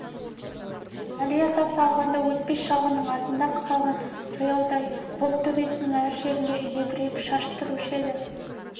әли атасы алғанда өтпес шалғының артыңда қалған сояудай боп төбесінің әр жерінде едірейіп шаш тұрушы еді